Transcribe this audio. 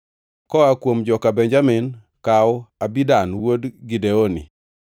koa kuom joka Benjamin, kaw Abidan wuod Gideoni;